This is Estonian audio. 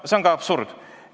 No see on absurd!